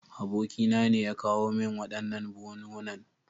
Abokina ne ya kawo min waɗannan buhunhunan.